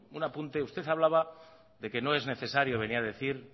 un apunte usted hablaba de que no es necesario venir a decir